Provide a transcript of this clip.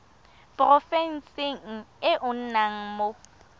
porofenseng e o nnang mo